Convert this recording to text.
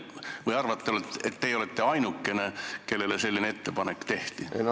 Või arvate, et teie olete ainukene, kellele selline ettepanek tehti?